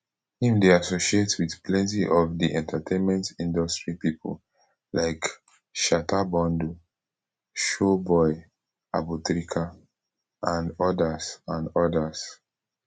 im dey associated wit plenty of di entertainment industry pipo like shatta bundle showboy abutrica and odas and odas